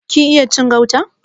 Kin iya cin gauta?